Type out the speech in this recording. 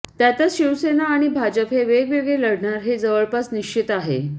त्यातच शिवसेना आणि भाजप हे वेगवेगळे लढणार हे जवळपास निश्चित आहे